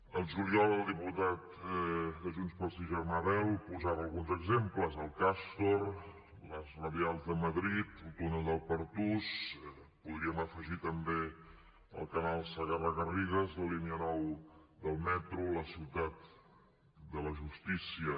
al juliol el diputat de junts pel sí germà bel en posava alguns exemples el castor les radials de madrid el túnel del pertús hi podríem afegir també el canal segarra garrigues la línia nou del metro la ciutat de la justícia